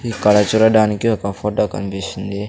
ఇక్కడ చూడటానికి ఒక ఫోటో కన్పిస్తుంది.